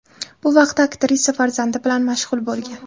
Bu vaqtda aktrisa farzandi bilan mashg‘ul bo‘lgan.